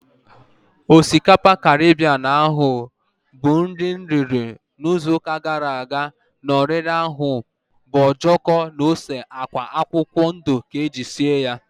Osikapa Karibien ahu mụ riri ịzụ ụka gara aga na oriri ahu bu ojoko na ose agwa akwụkwọ ndụ ka eji sie ya